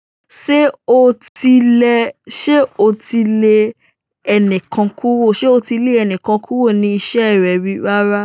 Ṣé o tilẹ̀, ṣe o ti le ẹnìkan kúrò, ṣe o ti lé ẹnìkan kúrò ní iṣẹ́ rẹ rí? Rárá.